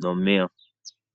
nomeya.